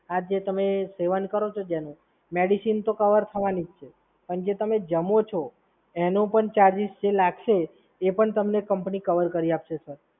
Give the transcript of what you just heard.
આજે તમે સેવન કરો છો જેનું, મેડિસિન તો કવર થવાની જ છે. પણ જે તમે જમો છો એનો પણ જે ચાર્જિસ જે લાગશે એ પણ તમને કંપની કવર કરી આપશે, સર.